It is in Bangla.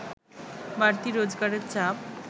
বাড়তি রোজগারের চাপ